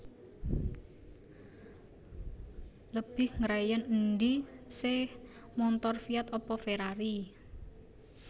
Lebih ngreyen endi seh montor Fiat apa Ferrari